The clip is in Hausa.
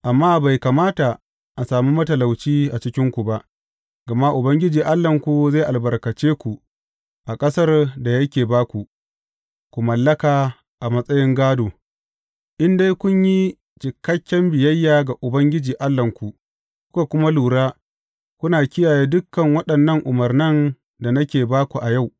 Amma bai kamata a sami matalauci a cikinku ba, gama Ubangiji Allahnku zai albarkace ku a ƙasar da yake ba ku, ku mallaka a matsayin gādo, in dai kun yi cikakken biyayya ga Ubangiji Allahnku, kuka kuma lura, kuna kiyaye dukan waɗannan umarnan da nake ba ku yau.